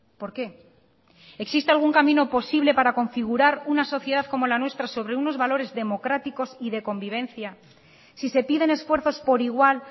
por qué existe algún camino posible para configurar una sociedad como la nuestra sobre unos valores democráticos y de convivencia si se piden esfuerzos por igual